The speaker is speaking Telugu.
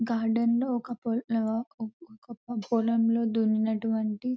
గార్డెన్ లో ఆహ్ ఒక ఒక పొలంలో దున్ని నటువంటి --